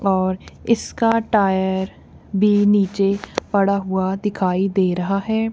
और इसका टायर भी नीचे पड़ा हुआ दिखाई दे रहा है।